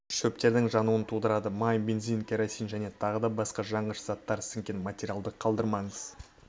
шөптердің жануын тудырады май бензин керосин және тағы да басқа жанғыш заттар сіңген материалдарды қалдырмаңыз